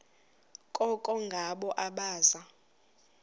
koko ngabo abaza